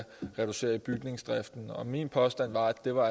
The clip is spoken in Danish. reducere i bygningsdriften min påstand var at det var